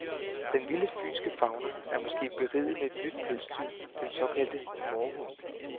Den vilde fynske fauna er måske beriget med et nyt pelsdyr, den såkaldte mårhund.